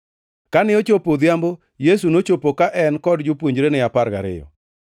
Kane ochopo godhiambo, Yesu nochopo, ka en kod jopuonjrene apar gariyo.